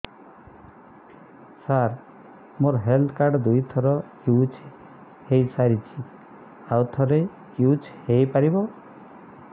ସାର ମୋ health card ଦୁଇ ଥର ୟୁଜ଼ ହୈ ସାରିଛି ଆଉ କେତେ ଥର ୟୁଜ଼ ହୈ ପାରିବ